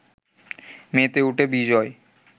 মেতে ওঠে বিজয়